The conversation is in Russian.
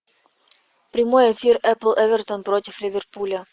прямой эфир апл эвертон против ливерпуля